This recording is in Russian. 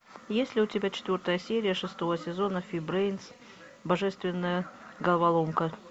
есть ли у тебя четвертая серия шестого сезона фи брейн божественная головоломка